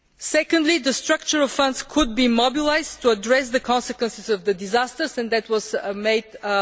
Secondly, the structural funds could be mobilised to address the consequences of the disaster, and that was made clear.